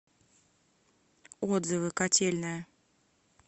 отзывы котельная